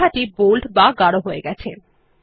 লেখাটি বোল্ড বা গাঢ় হয়ে গেছে